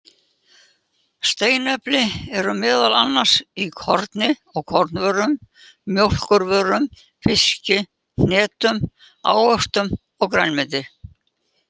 Steinefni eru meðal annars í korni og kornvörum, mjólkurvörum, fiski, hnetum, ávöxtum og grænmeti.